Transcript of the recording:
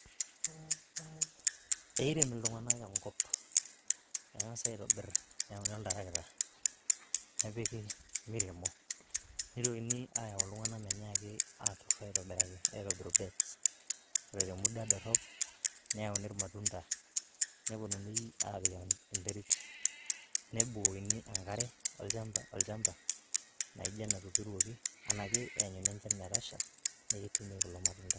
Eireem iltung'anak enkop eng'asa aitobirr neyauni oltarakita nepiki miremo nitokini ayau iltung'anak minyiaki aitobiru bets wore te muda dorop neyauni ilmatunda neyauni apiik enterit nebukokini enkare olchamba naijio enatuturuoki ena kenyuni enchan metasha petumi kulo matunda